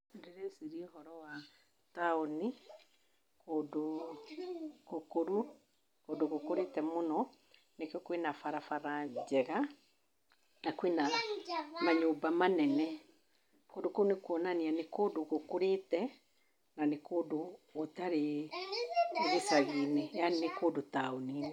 Ndĩrecirĩa ũhoro wa taũni kũndũ gũkũru, kũndũ gũkũrĩte mũno. Nĩkĩo kwĩna barabara njega na kwĩna manyũmba manene. Kũndũ kũu nĩ kũonania nĩ kũndũ gũkũrĩte na nĩ kũndũ gũtarĩ gĩshagi~inĩ yani nĩ kũndũ taũni~inĩ.